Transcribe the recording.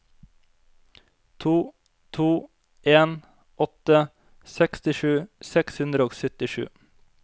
to to en åtte sekstisju seks hundre og syttisju